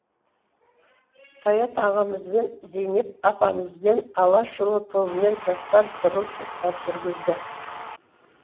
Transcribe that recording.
саят ағамызбен зейнеп апамызбен алашұлы тобымен жастар сырлы сұхбат жүргізді